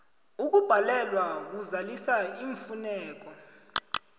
ukubhalelwa kuzalisa iimfuneko